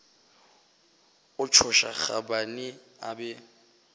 a tšhoša gobane a be